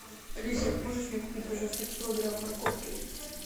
алиса можешь мне купить пожалуйста килограмм морковки